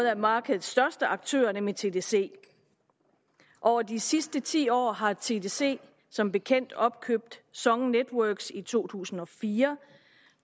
af markedets største aktører nemlig tdc over de sidste ti år har tdc som bekendt opkøbt song networks as i to tusind og fire